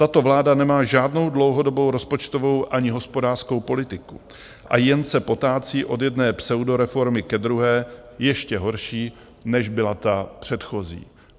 Tato vláda nemá žádnou dlouhodobou rozpočtovou ani hospodářskou politiku a jen se potácí od jedné pseudoreformy ke druhé, ještě horší, než byla ta předchozí.